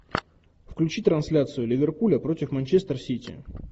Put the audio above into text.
включи трансляцию ливерпуля против манчестер сити